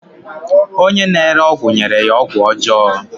Onye na-ere ọgwụ nyere ya ọgwụ ọjọọ